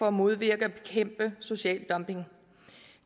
at modvirke og bekæmpe social dumping